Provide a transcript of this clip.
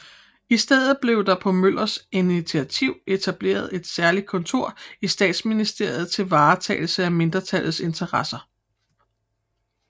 I stedet blev der på Møllers initiativ etableret et særligt kontor i Statsministeriet til varetagelse af mindretallets interesser